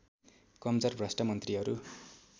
कमजोर भ्रष्ट मन्त्रीहरू